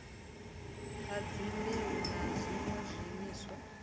ha dzimbeu na zwiṋwe zwiimiswa